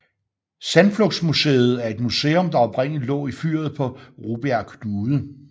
Sandflugtsmuseet er et museum der oprindeligt lå i fyret på Rubjerg Knude